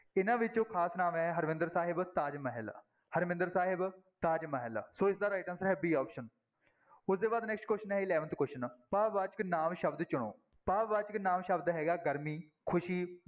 ਇਹਨਾਂ ਵਿੱਚੋਂ ਖ਼ਾਸ ਨਾਂਵ ਹੈ ਹਰਿਮੰਦਰ ਸਾਹਿਬ, ਤਾਜਮਹਿਲ, ਹਰਿਮੰਦਰ ਸਾਹਿਬ, ਤਾਜ ਮਹਿਲ ਸੋ ਇਸਦਾ right answer ਹੈ b option ਉਹਦੇ ਬਾਅਦ next question ਹੈ eleventh question ਭਾਵਵਾਚਕ ਨਾਂਵ ਸ਼ਬਦ ਚੁਣੋ, ਭਾਵਵਾਚਕ ਨਾਂਵ ਸ਼ਬਦ ਹੈਗਾ ਗਰਮੀ, ਖ਼ੁਸ਼ੀ,